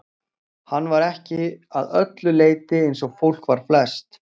Hann var ekki að öllu leyti eins og fólk var flest.